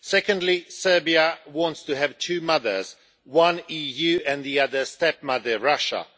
Secondly, Serbia wants to have two mothers one the EU, and the other stepmother Russia.